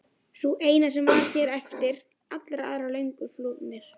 Sú eina sem hér var eftir, allir aðrir löngu flúnir.